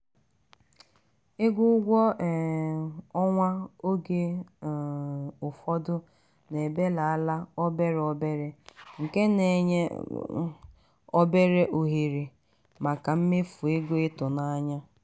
ego ụgwọ um ọnwa oge um ụfọdụ na-ebelala obere obere nke na-enye obere ohere maka mmefu ego ịtụnanya.